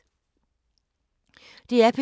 DR P2